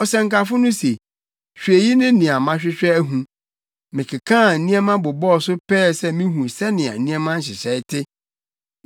Ɔsɛnkafo no se, “Hwɛ eyi ne nea mahwehwɛ ahu: “Mekekaa nneɛma bobɔɔ so pɛɛ sɛ mihu sɛnea nneɛma nhyehyɛe te,